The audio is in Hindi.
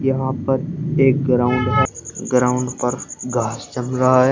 यहां पर एक ग्राउंड है ग्राउंड पर घास जम रहा है।